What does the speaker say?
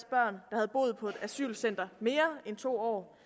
der havde boet på et asylcenter mere end to år